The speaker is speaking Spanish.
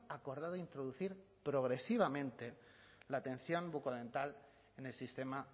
acordado introducir progresivamente la atención bucodental en el sistema